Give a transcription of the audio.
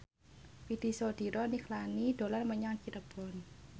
Widy Soediro Nichlany dolan menyang Cirebon